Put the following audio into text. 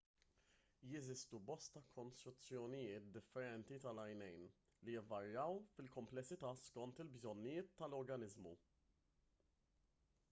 jeżistu bosta kostruzzjonijiet differenti tal-għajnejn li jvarjaw fil-kumplessità skont il-bżonnijiet tal-organiżmu